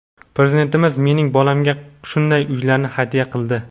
Prezidentimiz mening bolamga shunday uylarni hadya qildi.